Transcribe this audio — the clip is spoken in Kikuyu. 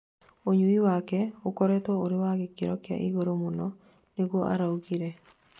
ũnyui wake ũkoretwo ũrĩ wa gĩkiro kia igũrũ mũno, " nĩguo araugire